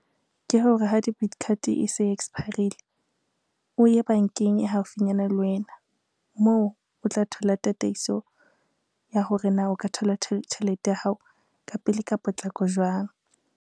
Ke hore ha debit card e se e expire-rile, o ye bankeng e haufinyana le wena, moo o tla thola tataiso ya hore na o ka thola tjhelete ya hao ka pele ka potlako jwang.